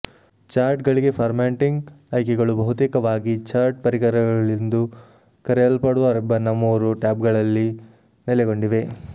ಚಾರ್ಟ್ಗಳಿಗೆ formatting ಆಯ್ಕೆಗಳು ಬಹುತೇಕವಾಗಿ chart ಪರಿಕರಗಳೆಂದು ಕರೆಯಲ್ಪಡುವ ರಿಬ್ಬನ್ನ ಮೂರು ಟ್ಯಾಬ್ಗಳಲ್ಲಿ ನೆಲೆಗೊಂಡಿವೆ